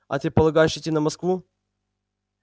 а ты полагаешь идти на москву